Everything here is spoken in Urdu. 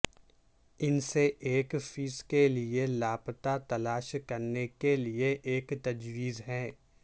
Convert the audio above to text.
ان سے ایک فیس کے لئے لاپتہ تلاش کرنے کے لئے ایک تجویز ہے